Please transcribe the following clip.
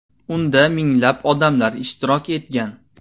Unda minglab odamlar ishtirok etgan.